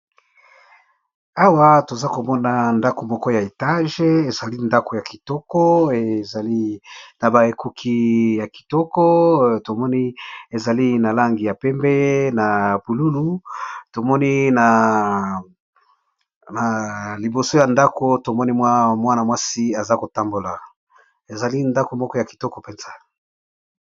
Awa toza komona ndako moko ya etage ezali ndako ya kitoko ezali na ba ekuki ya kitoko tomoni ezali na langi ya pembe na pululu tomoni na liboso ya ndako tomoni mwa mwana mwasi aza kotambola ezali ndako moko ya kitoko mpenza